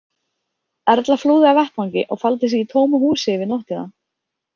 Erla flúði af vettvangi og faldi sig í tómu húsi yfir nóttina.